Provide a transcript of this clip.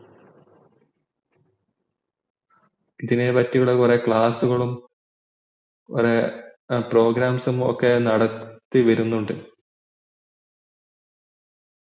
ഇതിനെ പറ്റി കൊറേ class ഉകളും program ഉകളും നടത്തി വരുനിണ്ട്